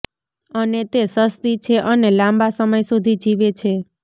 અને તે સસ્તી છે અને લાંબા સમય સુધી જીવે છે